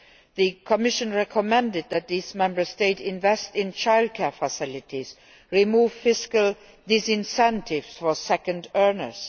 The Commission recommended that these Member States invest in childcare facilities and remove fiscal disincentives for second earners.